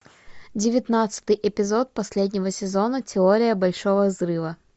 девятнадцатый эпизод последнего сезона теория большого взрыва